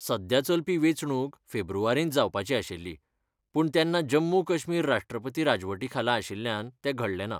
सध्या चलपी वेंचणूक फेब्रुवारींत जावपाची आशिल्ली, पूण तेन्ना जम्मू काश्मीर राष्ट्रपती राजवटीखाला आशिल्ल्यान तें घडलें ना.